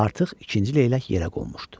Artıq ikinci leylək yerə qonmuşdu.